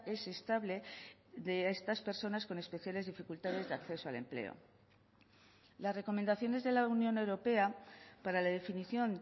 es estable de estas personas con especiales dificultades de acceso al empleo las recomendaciones de la unión europea para la definición